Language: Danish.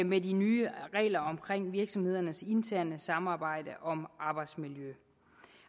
med de nye regler om virksomhedernes interne samarbejde om arbejdsmiljø